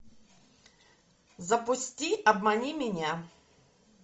запусти обмани меня